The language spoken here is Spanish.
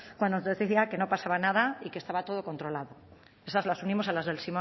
cuando nos decía que no pasaba nada y que estaba todo controlado esas las unimos a las del